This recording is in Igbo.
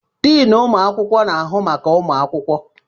Deni ụmụakwụkwọ na-ahụ maka ụmụakwụkwọ